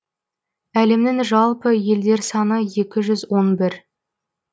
әлемнің жалпы елдер саны екі жүз он бір